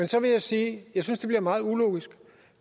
så vil jeg sige at jeg synes det bliver meget ulogisk